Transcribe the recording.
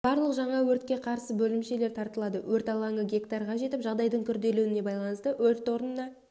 барлық жаңа өртке қарсы бөлімшелер тартылады өрт алаңы гектарға жетіп жағдайдың күрделенуіне байланысты өрт орнына